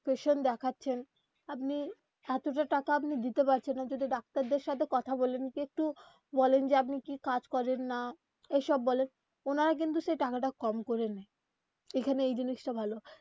patient দেখাচ্ছেন আপনি এতটা টাকা আপনি দিতে পারছেন না যদি ডাক্তারদের সাথে কথা বলেন কি একটু বলেন যে আপনি কি কাজ করেন, না এইসব বলেন ওনারা কিন্তু সেই টাকাটা কম করে নেয়. এইখানে এই জিনিসটা ভালো.